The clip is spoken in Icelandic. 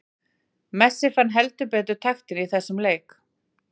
Messi fann heldur betur taktinn í þessum leik.